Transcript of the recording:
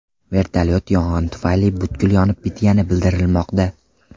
Vertolyot yong‘in tufayli butkul yonib bitgani bildirilmoqda.